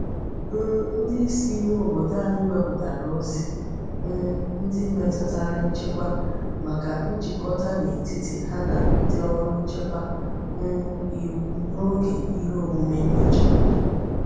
um Ndi isi ime obodo anyi weputara ozi um ndi metutara nchekwa maka njikota n'etiti ha na ndi órú nchekwa um iwu n'oge ihe omume nyocha.